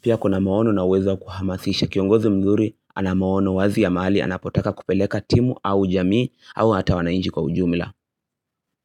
Pia kuna maono na uwezo kuhamasisha kiongozi mzuri anamaono wazi ya mahali anapotaka kupeleka timu au jamii au hata wanainji kwa ujumla.